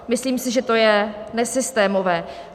Myslím si, že to je nesystémové.